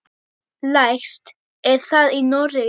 Lægst er það í Noregi.